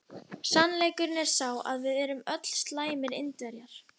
Sannleikurinn er sá að við erum öll slæmir Indverjar.